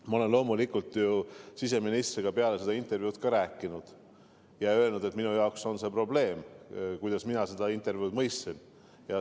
Ma olen loomulikult siseministriga peale seda intervjuud rääkinud ja öelnud, et minu jaoks on see probleem – just nii mina seda intervjuud mõistsin.